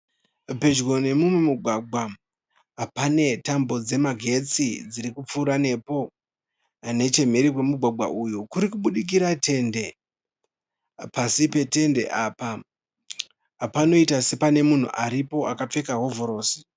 Pedyo nemumugwagwa pane tambo dzemagetsi dziri kupfuura nepo. Nechemhiri kwemugwagwa uyu kuri kubudikira tende. Pasi petende apa panoita sepane munhu aripo akapfeka hovhorosi.